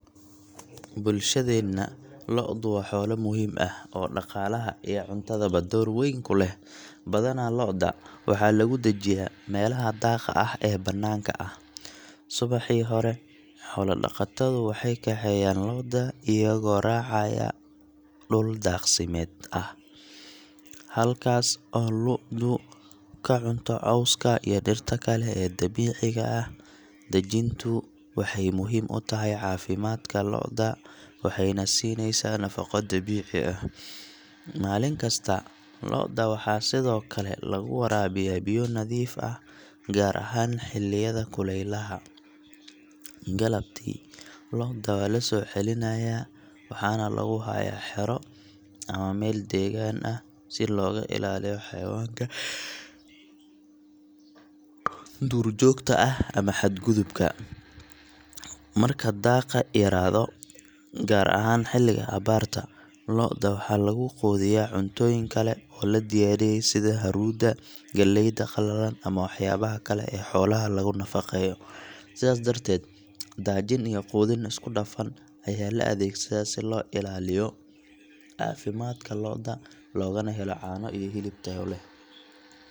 Bulshadeenna, lo’du waa xoolo muhiim ah oo dhaqaalaha iyo cuntadaba door weyn ku leh. Badanaa lo’da waxaa lagu daajiyaa meelaha daaqa ah ee bannaanka ah. Subaxii hore, xoolo-dhaqatadu waxay kaxeeyaan lo’da iyagoo raacaya dhul daaqsimeed ah, halkaas oo lo’du ka cunto cawska iyo dhirta kale ee dabiiciga ah. Daajintu waxay muhiim u tahay caafimaadka lo’da waxayna siinaysaa nafaqo dabiici ah. Maalin kasta, lo’da waxaa sidoo kale lagu waraabiyaa biyo nadiif ah, gaar ahaan xilliyada kulaylaha. Galabtii, lo’da waa la soo celinayaa waxaana lagu hayaa xero ama meel degaan ah si looga ilaaliyo xayawaanka duurjoogta ah ama xadgudubka. Marka daaqa yaraaado, gaar ahaan xilliga abaarta, lo’da waxaa lagu quudiyaa cuntooyin kale oo la diyaariyey sida haruuda, galleyda qalalan, ama waxyaabaha kale ee xoolaha lagu nafaqeeyo. Sidaas darteed, daajin iyo quudin isku dhafan ayaa la adeegsadaa si loo ilaaliyo caafimaadka lo’da loogana helo caano iyo hilib tayo leh.